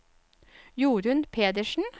Jorun Pedersen